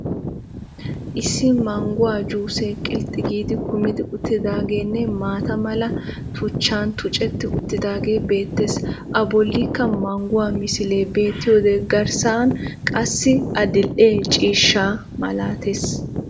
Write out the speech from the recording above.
Issi mangguwa juusee qilxxi giid kummidi uttidaageenne maata mala tuchchan tuccetti uttidaagee beettees. A bollikka mangguwa misilee beettiyode garssan qassi adildhdhe ciishsha malatees.